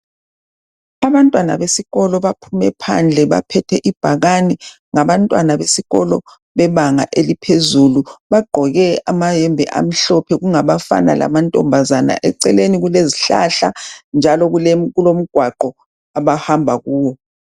Abantwana besikolo baphume phandle baphethe ibhakani. Ngabantwana besikolo bebanga eliphezulu, bagqoke amayembe amhlophe kungabafana lamantombazane .Eceleni kulezihlahla njalo kulomgwaqo abahamba kuwo.